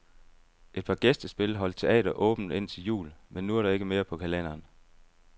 Et par gæstespil holdt teatret åbent indtil jul, men nu er der ikke mere på kalenderen.